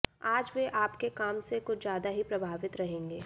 आज वे आपके काम से कुछ ज्यादा ही प्रभावित रहेंगे